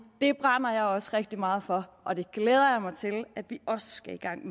det brænder jeg også rigtig meget for og det glæder jeg mig til at vi også skal i gang